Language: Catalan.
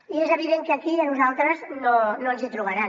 i és evident que aquí a nosaltres no ens hi trobaran